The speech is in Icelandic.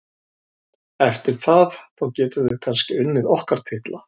Eftir það, þá getum við kannski unnið okkar titla.